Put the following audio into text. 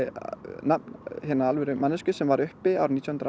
nafn hinnar alvöru manneskju sem var uppi árið nítján hundruð